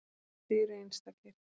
Þið eruð einstakir.